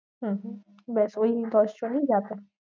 হম হম বেশ ওই দশজনই যাবে।